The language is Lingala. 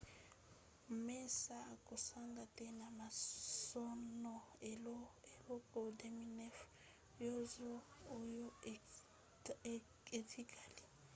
massa akosanga te na masano na eleko 2009 nyonso oyo etikali